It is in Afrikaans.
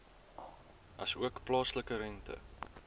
asook plaaslike rente